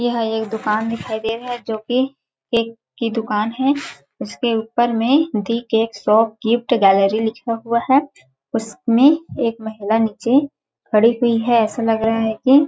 यह एक दुकान दिखाई दे रहा है जोकि केक की दुकान है उसके ऊपर में the cake shop gift gallery लिखा हुआ है उसमें एक महिला नीचे खड़ी हुई है ऐसा लग रहा है की--